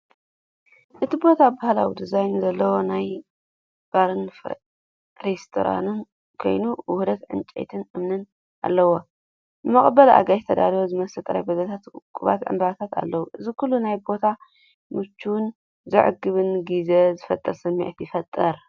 እቲ ቦታ ባህላዊ ዲዛይን ዘለዎ ናይ ባርን ሬስቶራንትን ኮይኑ ውህደት ዕንጨይትን እምንን ኣለዎ። ንመቐበሊ ኣጋይሽ ዝተዳለዉ ዝመስሉ ጠረጴዛታትን ውቁባት ዕምባባታት ኣለዉ። እዚ ኩሉ ነቲ ቦታ ምቹእን ዘዕግብን ግዜ ዝፈጥር ስምዒት ይፈጥር!